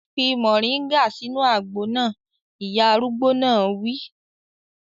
Fi moringa sínú àgbo náà! Ìyá arúgbó náà wí.